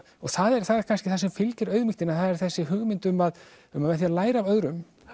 og það er kannski það sem fylgir auðmýktinni það er þessi hugmynd um að um að með því að læra af öðrum